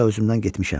Guya özümdən getmişəm.